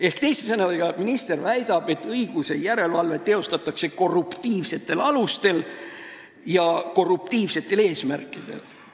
Ehk teiste sõnadega: minister väidab, et õiguse järelevalvet teostatakse korruptiivsetel alustel ja korruptiivsetel eesmärkidel.